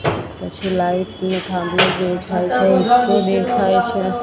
પછી લાઈટ નો થાંભલો દેખાય છે દેખાય છે.